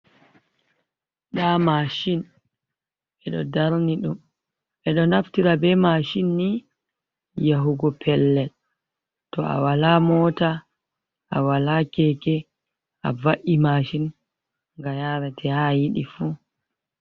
Da mashin bedo darni dum edo naftira be mashin ni yahugo pellel to a wala mota a wala keke a va’i mashin ga yarate ha yidi fu.